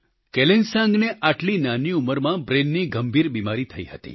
કેલેનસાંગને આટલી નાની ઉંમરમાં બ્રેઈનની ગંભીર બિમારી થઈ હતી